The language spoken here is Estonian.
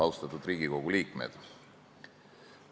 Austatud Riigikogu liikmed!